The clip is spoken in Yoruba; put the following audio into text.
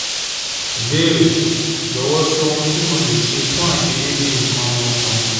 Ìbéèrè: Jọ̀wọ́ sọ ohun tí mo lè ṣe fún aiṣedeede ikan om okunrin